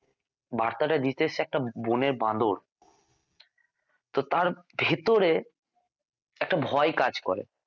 বার্তাটা দিতে এসেছে একটা বনের বাঁদর তো তার ভিতরে একটা ভয় কাজ করে